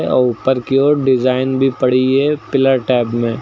ऊपर की ओर डिजाइन भी पड़ी है पिलर टाइप में।